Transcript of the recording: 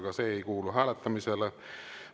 Ka see ei kuulu hääletamisele.